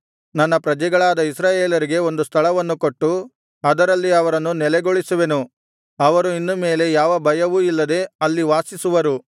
ನನ್ನ ಪ್ರಜೆಗಳಾದ ಇಸ್ರಾಯೇಲರಿಗೆ ಒಂದು ಸ್ಥಳವನ್ನು ಕೊಟ್ಟು ಅದರಲ್ಲಿ ಅವರನ್ನು ನೆಲೆಗೊಳಿಸುವೆನು ಅವರು ಇನ್ನು ಮೇಲೆ ಯಾವ ಭಯವು ಇಲ್ಲದೆ ಅಲ್ಲಿ ವಾಸಿಸುವರು